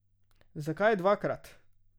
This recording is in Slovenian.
Zakaj dvakrat?